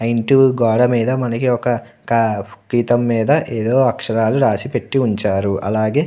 ఆ ఇంటి గోడ మేధా ఒక పీతం మేధా ఏదో ఆకాశారాళ్ళు రాసి పేటి ఉంచారు అలాగే --